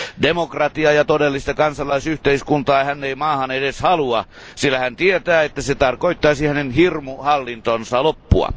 Demokratiaa ja todellista kansalaisyhteiskuntaa hän ei maahan edes halua, sillä hän tietää, että se tarkoittaisi hänen hirmuhallintonsa loppua.